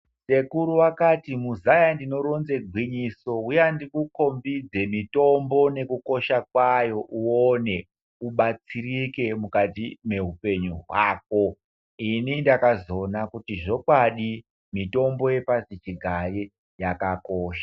Sekuru vakati muzaaya ndinoronze gwinyiso uya ndikukombidze mitombo nekukosha kwayo uone kubatsireke mukati meupenyu hwako ini ndakazoona kuti zvokwadi mutombo yepasi chigare yakakosha.